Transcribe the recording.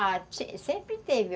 Ah, sempre teve.